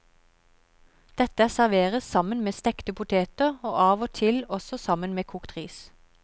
Dette serveres sammen med stekte poter og av og til også sammen med kokt ris.